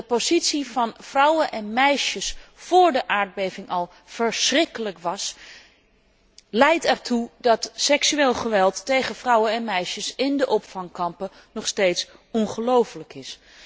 Dat de positie van vrouwen en meisjes vóór de aardbeving al verschrikkelijk was, leidt ertoe dat seksueel geweld tegen vrouwen en meisjes in de opvangkampen nog steeds ongelooflijk is.